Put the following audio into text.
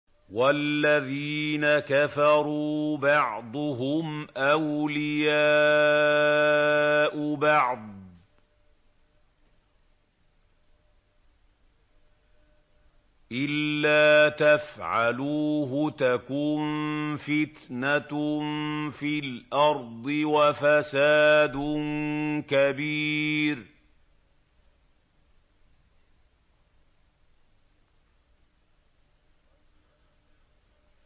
وَالَّذِينَ كَفَرُوا بَعْضُهُمْ أَوْلِيَاءُ بَعْضٍ ۚ إِلَّا تَفْعَلُوهُ تَكُن فِتْنَةٌ فِي الْأَرْضِ وَفَسَادٌ كَبِيرٌ